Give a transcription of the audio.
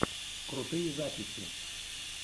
крутые записи